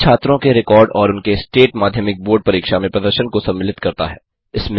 यह छात्रों के रिकॉर्ड और उनके स्टेट माध्यमिक बोर्ड परीक्षा में प्रदर्शन को सम्मिलित करता है